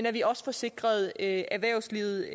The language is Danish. at vi også får sikret erhvervslivet